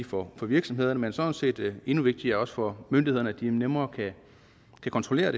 for virksomhederne men sådan set og endnu vigtigere også for myndighederne så de nemmere kan kontrollere